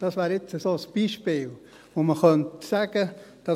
Das wäre jetzt so ein Beispiel, von dem man sagen könnte: